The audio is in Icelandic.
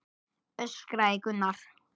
öskraði Gunnar.